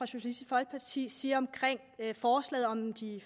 socialistisk folkeparti siger om forslaget om de